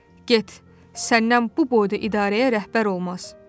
Get, səndən bu boyda idarəyə rəhbər olmaz.